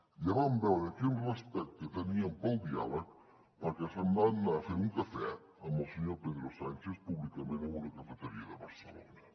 ja vam veure quin respecte tenien pel diàleg perquè se’n van anar a fer un cafè amb el senyor pedro sánchez públicament en una cafeteria de barcelona